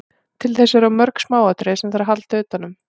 Til þess eru of mörg smáatriði sem þarf að halda utanum.